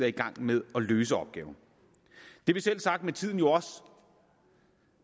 i gang med at løse opgaven det vil selvsagt med tiden også